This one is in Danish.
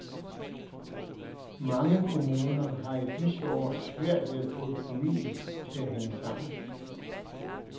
Mange kommuner har i disse år svært ved at få økonomien til at hænge sammen.